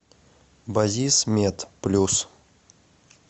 базисмед плюс